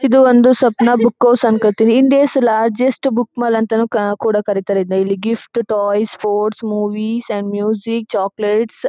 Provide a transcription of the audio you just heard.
ಇದು ಒಂದು Sapna book house ಅನ್ಕೋತೀನಿ. ಇಂಡಿಯಾಸ್ ಬೆಸ್ಟ್ ಬುಕ್ ಮಾಲ್ ಅಂತಾನೂ ಕೂಡ ಕರೀತಾರೆ ಇದನ್ನ. ಇಲ್ಲಿ gifts toys sports movies and music chocolates